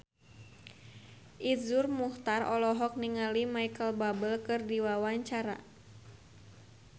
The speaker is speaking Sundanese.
Iszur Muchtar olohok ningali Micheal Bubble keur diwawancara